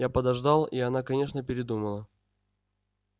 я подождал и она конечно передумала